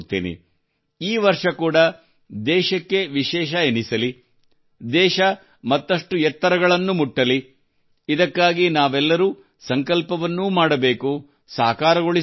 ಈ ವರ್ಷ ಕೂಡಾ ದೇಶಕ್ಕೆ ವಿಶೇಷವೆನಿಸಲಿ ದೇಶ ಮತ್ತಷ್ಟು ಎತ್ತರಗಳನ್ನು ಮುಟ್ಟಲಿ ಇದಕ್ಕಾಗಿ ನಾವೆಲ್ಲರೂ ಸಂಕಲ್ಪವನ್ನೂ ಮಾಡಬೇಕು ಸಾಕಾರಗೊಳಿಸಲೂ ಬೇಕು